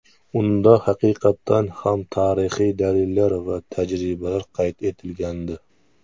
Unda haqiqatan ham tarixiy dalillar va tajribalar qayd etilgandi.